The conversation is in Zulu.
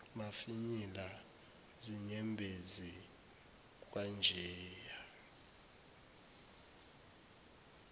mafinyila zinyembezi kwanjeya